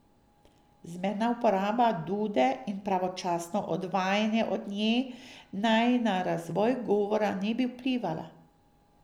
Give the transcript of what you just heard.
Zmerna uporaba dude in pravočasno odvajanje od nje naj na razvoj govora ne bi vplivala.